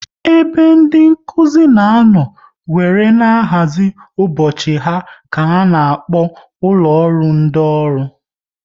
Ebe ndị Nkụzi na anọ wéré na-ahazi ụbọchị ha ka a na-akpọ ụlọ ọrụ ndị ọrụ